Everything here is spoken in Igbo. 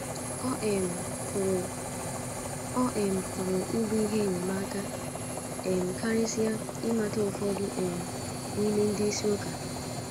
Ọ um pụrụ Ọ um pụrụ ịbụ ihe enyemaka um karịsịa ịmata ụfọdụ um n’ime ndị isi ụka.